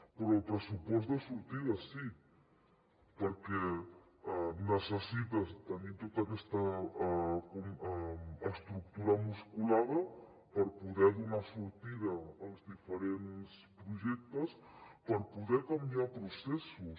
però el pressupost de sortida sí perquè necessites tenir tota aquesta estructura musculada per poder donar sortida als diferents projectes per poder canviar processos